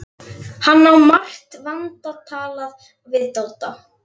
Hann á margt vantalað við Dodda.